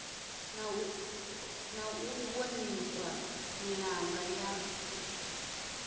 na u ṱhonifha milanga ya